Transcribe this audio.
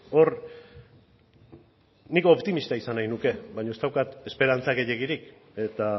hor nik optimista izan nahi nuke baino ez daukat esperantza gehiegirik eta